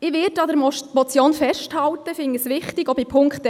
Ich werde an der Motion festhalten, auch bei Punkt 1.